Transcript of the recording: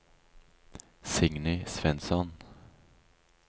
Signy Svensson